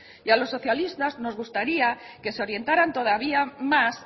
y a los socialistas nos gustaría que se orientaran todavía más